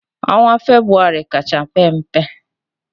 Onwa febụwarị kacha pe mpe